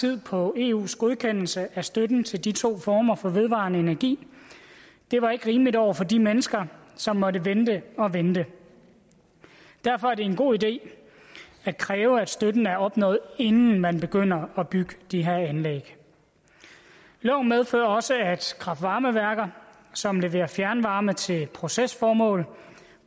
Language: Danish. tid på eus godkendelse af støtten til de to former for vedvarende energi det var ikke rimeligt over for de mennesker som måtte vente og vente derfor er det en god idé at kræve at støtten er opnået inden man begynder at bygge de her anlæg loven medfører også at kraft varme værker som leverer fjernvarme til procesformål